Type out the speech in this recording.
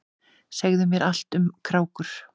Segðu mér allt um krákur.